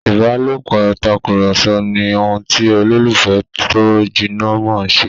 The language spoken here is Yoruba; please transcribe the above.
ìbálòpọ̀ Tàkùrọ̀sọ ni ohùn ti ololufẹ tó jìnà món ṣe.